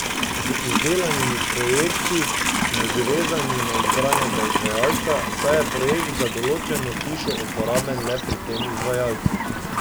Z izdelanimi projekti smo že vezani na izbranega izvajalca, saj je projekt za določeno hišo uporaben le pri tem izvajalcu.